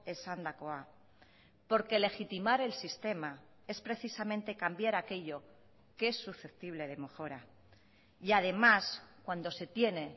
esandakoa porque legitimar el sistema es precisamente cambiar aquello que es susceptible de mejora y además cuando se tiene